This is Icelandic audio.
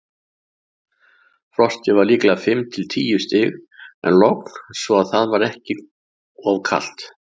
Frostið var líklega fimm til tíu stig en logn svo það var ekki of kalt.